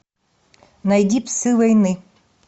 найди псы войны